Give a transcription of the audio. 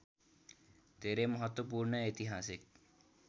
धेरै महत्त्वपूर्ण ऐतिहासिक